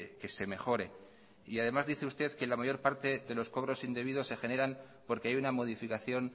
que se mejore además dice usted que la mayor parte de los cobros indebidos se generan porque hay una modificación